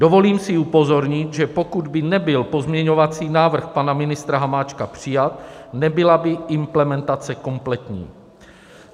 Dovolím si upozornit, že pokud by nebyl pozměňovací návrh pana ministra Hamáčka přijat, nebyla by implementace komplexní.